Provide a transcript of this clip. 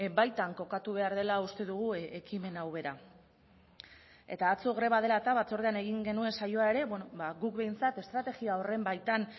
baitan kokatu behar dela uste dugu ekimen hau bera eta atzo greba dela eta batzordean egin genuen saioa ere guk behintzat estrategia horren baitan